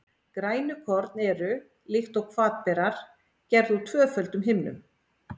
Grænukorn eru, líkt og hvatberar, gerð úr tvöföldum himnum.